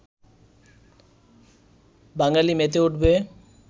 বাঙালি মেতে উঠবে